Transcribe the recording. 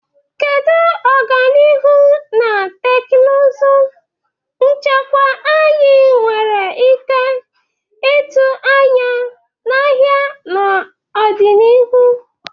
Kedu ọganihu na teknụzụ nchekwa anyị nwere ike ịtụ anya n'ahịa n'ọdịnihu?